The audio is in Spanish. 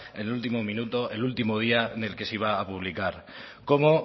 en el último minuto el último día en el que se iba a publicar cómo